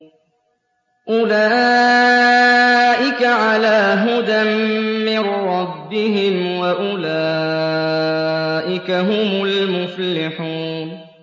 أُولَٰئِكَ عَلَىٰ هُدًى مِّن رَّبِّهِمْ ۖ وَأُولَٰئِكَ هُمُ الْمُفْلِحُونَ